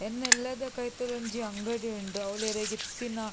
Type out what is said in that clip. ಎನ್ನ ಇಲ್ಲದ ಕೈತಲ್ ಒಂಜಿ ಅಂಗಡಿ ಉಂಡು ಅವುಲು ಇರೆಗ್ ಇತ್ತಿನ--